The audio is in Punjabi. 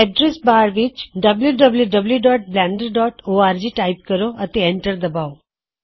ਅਡਰੈੱਸ ਬਾਕਸ ਵਿਚ wwwblenderorg ਟਾਇਪ ਕਰੋ ਅਤੇ ਐਂਟਰ ਦਬਾਓ